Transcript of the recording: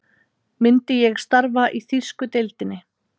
Myndi ég starfa í þýsku deildinni?